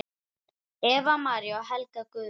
Eva María og Helga Guðrún.